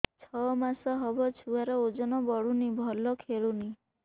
ଛଅ ମାସ ହବ ଛୁଆର ଓଜନ ବଢୁନି ଭଲ ଖେଳୁନି